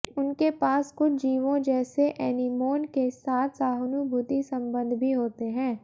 उनके पास कुछ जीवों जैसे एनीमोन के साथ सहानुभूति संबंध भी होते हैं